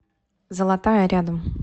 золотая рядом